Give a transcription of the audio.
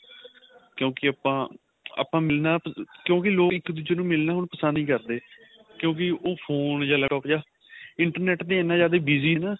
ਕਿਉਂਕਿ ਆਪਾਂ ਆਪਾਂ ਮਿਲਣਾ ਕਿਉਂਕਿ ਲੋਕ ਇੱਕ ਦੂਜੇ ਨੂੰ ਮਿਲਣਾ ਹੁਣ ਪਸੰਦ ਨਹੀਂ ਕਰਦੇ ਕਿਉਂਕਿ ਉਹ phone ਜਾਂ laptop ਜਾਂ internet ਤੇ ਇੰਨਾ ਜਿਆਦਾ busy ਏ ਨਾ